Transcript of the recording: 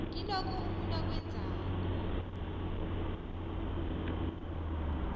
kilokho umuntu akwenzekako